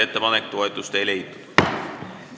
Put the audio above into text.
Ettepanek ei leidnud toetust.